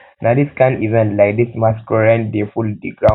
na this kind event like this masqurade dey full ground